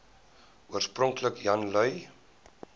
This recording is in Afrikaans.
oorspronklik jan lui